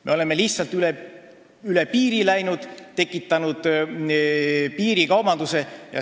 Me oleme lihtsalt üle piiri läinud ja tekitanud piirikaubanduse.